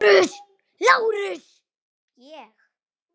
LÁRUS: Ég?